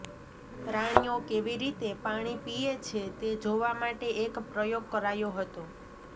પ્રાણીઓ કેવી રીતે પાણી પીએ છે તે જોવા માટે એક પ્રયોગ કરાયો હતો